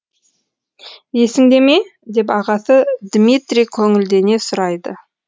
есіңдеме деп ағасы дмитрий көңілдене сұрайды